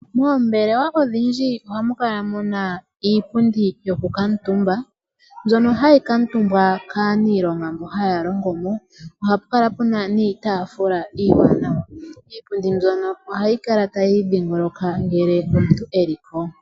Moombelewa odhindji ohamu kala muna iipundi yokukuutumba, mbyono hayi kuutumbwa kaaniilonga mbo haya longo mo ohapu kala puna niitaafula iiwanawa. Iipundi mbyono ohayi kala tayi idhingoloka ngele omuntu e li ko.